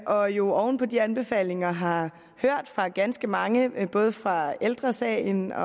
og jo oven på de anbefalinger har hørt fra ganske mange både fra ældre sagen og